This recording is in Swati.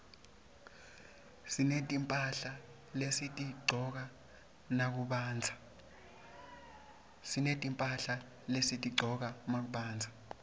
sinetimphahla lesitigcoka nakubandza